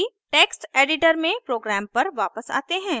text editor में program पर वापस आते हैं